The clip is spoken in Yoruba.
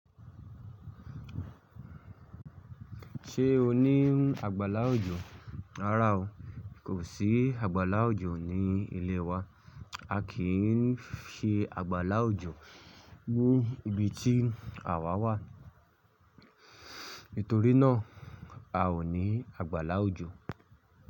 Ṣé o ní àgbàlá òjò? Rárá o, kò sí àgbàlá òjò ní ilé wa. A kì í ṣe àgbàlá òjò ní ibi tí àwa wà. Nítorí náà, a ò ní àgbàlá òjò.